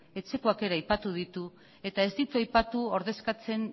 etxekoak ere aipatu ditu eta ez ditu aipatu ordezkatzen